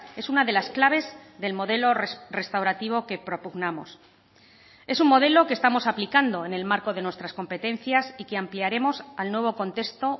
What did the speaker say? es una de las claves del modelo restaurativo que propugnamos es un modelo que estamos aplicando en el marco de nuestras competencias y que ampliaremos al nuevo contexto